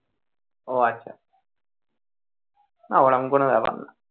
ওহ আচ্ছা আহ না ওরকম কোন ব্যাপার না,